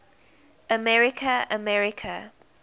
america america